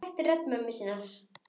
Hann þekkir rödd mömmu sinnar.